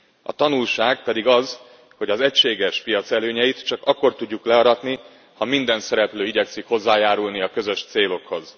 A tanulság pedig az, hogy az egységes piac előnyeit csak akkor tudjuk learatni, ha minden szereplő igyekszik hozzájárulni a közös célokhoz.